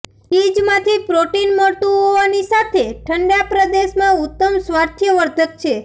ચીઝમાંથી protein મળતું હોવાની સાથે ઠંડા પ્રદેશમાં ઉત્તમ સ્વાસ્થ્યવર્ધક છે